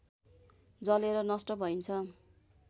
जलेर नष्ट भइन्छ